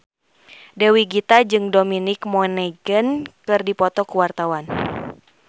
Dewi Gita jeung Dominic Monaghan keur dipoto ku wartawan